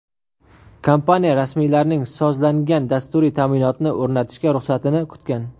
Kompaniya rasmiylarning sozlangan dasturiy ta’minotni o‘rnatishga ruxsatini kutgan.